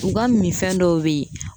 U ka mi fɛn dɔw be yen